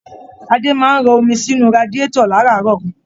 Ade máa n rọ̀ omi sinú radiatọ̀ láràárọ̀.